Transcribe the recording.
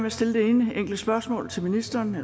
at stille det ene enkle spørgsmål til ministeren